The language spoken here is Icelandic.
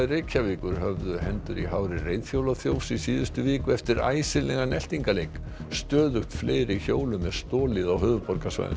Reykjavíkur höfðu hendur í hári reiðhjólaþjófs í síðustu viku eftir eltingaleik stöðugt fleiri hjólum er stolið á höfuðborgarsvæðinu